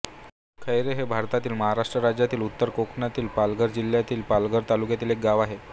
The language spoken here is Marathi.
खैरे हे भारतातील महाराष्ट्र राज्यातील उत्तर कोकणातील पालघर जिल्ह्यातील पालघर तालुक्यातील एक गाव आहे